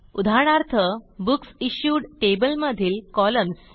उदाहरणार्थ books issued table मधील columns